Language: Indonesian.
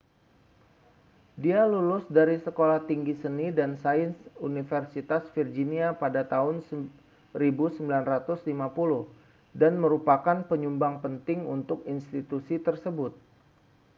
dia lulus dari sekolah tinggi seni dan sains universitas virginia pada tahun 1950 dan merupakan penyumbang penting untuk institusi tersebut